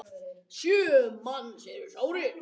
Sjö manns eru sárir.